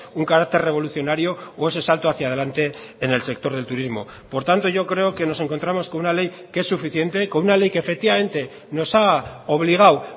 un carácter revolucionario o ese salto hacia adelante en el sector del turismo por tanto yo creo que nos encontramos con una ley que es suficiente con una ley que efectivamente nos ha obligado